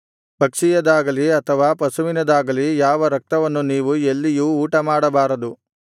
ಪಕ್ಷಿಯದಾಗಲಿ ಅಥವಾ ಪಶುವಿನದಾಗಲಿ ಯಾವ ರಕ್ತವನ್ನು ನೀವು ಎಲ್ಲಿಯೂ ಊಟಮಾಡಬಾರದು